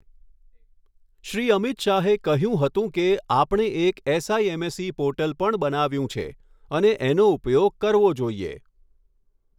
શ્રી અમિત શાહે કહ્યું હતું કે, આપણે એક એસઆઈએમએસઈ પોર્ટલ પણ બનાવ્યું છે અને એનો ઉપયોગ કરવો જોઈએ.